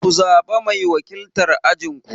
Ku zaɓa mai wakiltar ajin ku!